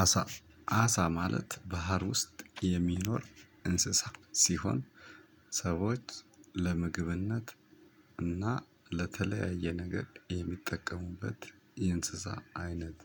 አሳ አሳ ማለት ባህር ውስጥ የሚኖር እንስሳ ሲሆን ሰዎች ለምግብነት እና ለተለያየ ነገር የሚጠቀሙበት የእንስሳ አይነት